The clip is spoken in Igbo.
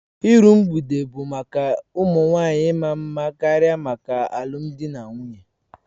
Iru mgbede bụ maka ụmụ nwanyị maa mma karịa maka alụmdi na nwunye